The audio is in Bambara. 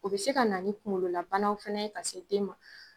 O bɛ se ka na ni kunkolola bana fana ye ka se den ma.